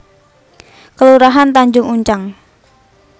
Kelurahan Tanjung Uncang